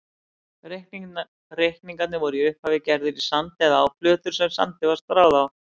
Reikningar voru í upphafi gerðir í sand eða á plötur sem sandi var stráð á.